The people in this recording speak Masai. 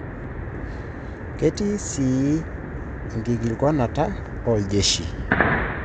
Ketii sii enkikilikwanata oljeshi.